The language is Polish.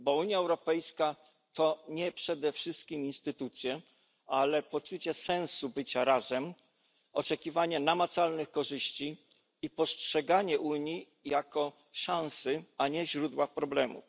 Bo Unia Europejska to nie przede wszystkim instytucje, ale poczucie sensu bycia razem, oczekiwanie namacalnych korzyści i postrzeganie Unii jako szansy, a nie źródła problemów.